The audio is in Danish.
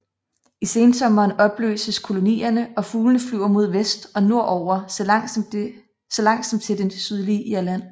I sensommeren opløses kolonierne og fuglene flyver mod vest og nordover så langt som til det sydlige Irland